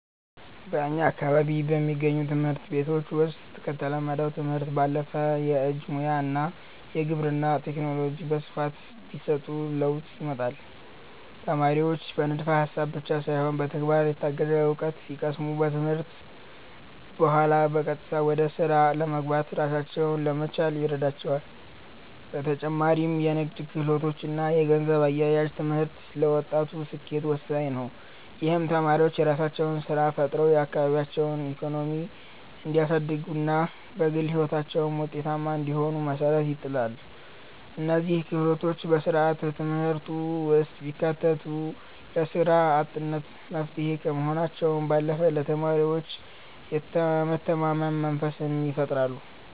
በእኛ አካባቢ በሚገኙ ትምህርት ቤቶች ውስጥ ከተለመደው ትምህርት ባለፈ የእጅ ሙያ እና የግብርና ቴክኖሎጂ በስፋት ቢሰጡ ለውጥ ያመጣሉ። ተማሪዎች በንድፈ ሃሳብ ብቻ ሳይሆን በተግባር የታገዘ እውቀት ሲቀስሙ፣ ከትምህርት በኋላ በቀጥታ ወደ ስራ ለመግባትና ራሳቸውን ለመቻል ይረዳቸዋል። በተጨማሪም የንግድ ክህሎት እና የገንዘብ አያያዝ ትምህርት ለወጣቱ ስኬት ወሳኝ ነው። ይህም ተማሪዎች የራሳቸውን ስራ ፈጥረው የአካባቢያቸውን ኢኮኖሚ እንዲያሳድጉና በግል ህይወታቸውም ውጤታማ እንዲሆኑ መሰረት ይጥላል። እነዚህ ክህሎቶች በስርዓተ ትምህርቱ ውስጥ ቢካተቱ ለስራ አጥነት መፍትሄ ከመሆናቸው ባለፈ ለተማሪዎች የመተማመን መንፈስን ይፈጥራሉ።